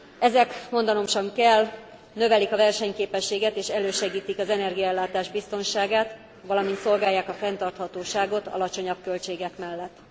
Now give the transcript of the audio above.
Ezek mondanom sem kell növelik a versenyképességet és elősegítik az energiaellátás biztonságát, valamint szolgálják a fenntarthatóságot alacsonyabb költségek mellett.